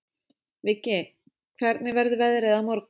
Viggi, hvernig verður veðrið á morgun?